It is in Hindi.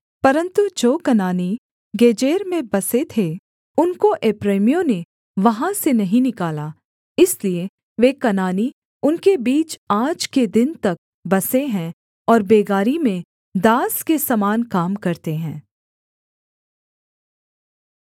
परन्तु जो कनानी गेजेर में बसे थे उनको एप्रैमियों ने वहाँ से नहीं निकाला इसलिए वे कनानी उनके बीच आज के दिन तक बसे हैं और बेगारी में दास के समान काम करते हैं